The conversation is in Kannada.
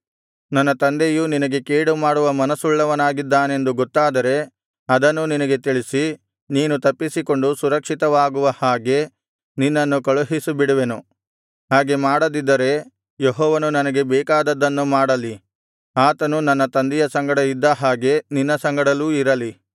ನನ್ನ ತಂದೆಯು ನಿನಗೆ ಕೇಡುಮಾಡುವ ಮನಸ್ಸುಳ್ಳವನಾಗಿದ್ದಾನೆಂದು ಗೊತ್ತಾದರೆ ಅದನ್ನೂ ನಿನಗೆ ತಿಳಿಸಿ ನೀನು ತಪ್ಪಿಸಿಕೊಂಡು ಸುರಕ್ಷಿತವಾಗುವ ಹಾಗೆ ನಿನ್ನನ್ನು ಕಳುಹಿಸಿಬಿಡುವೆನು ಹಾಗೆ ಮಾಡದಿದ್ದರೆ ಯೆಹೋವನು ನನಗೆ ಬೇಕಾದದ್ದನ್ನು ಮಾಡಲಿ ಆತನು ನನ್ನ ತಂದೆಯ ಸಂಗಡ ಇದ್ದ ಹಾಗೆ ನಿನ್ನ ಸಂಗಡಲೂ ಇರಲಿ